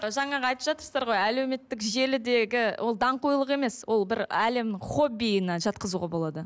жаңағы айтып жатырсыздар ғой әлеуметтік желідегі ол даңғойлық емес ол бір әлем хоббиіне жатқызуға болады